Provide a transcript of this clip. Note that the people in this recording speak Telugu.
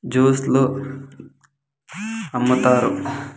జ్యూస్ లో అమ్ముతారు .]